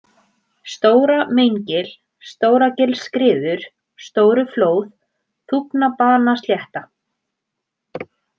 Stóra-Meingil, Stóragilsskriður, Stóruflóð, Þúfnabanaslétta